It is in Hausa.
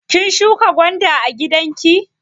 Kin shuƙa gwanda a gidanki?